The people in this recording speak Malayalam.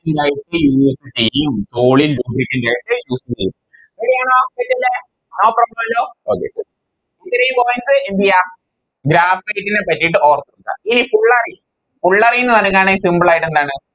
Use ചെയ്യും solidlubricant ആയിട്ട് use ചെയ്യും Ready ആണോ കിട്ടിയല്ലോ അതെ ഇത്രേം Points എന്തെയ്യ Graphite നെ പറ്റിട്ട് ഓർത്ത് വെക്ക ഇനി fullerene fullerene പറയുന്നതാണ് Simple ആയിട്ട് എന്താണ്